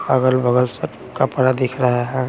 अगल बगल सब कपड़ा दिख रहा है।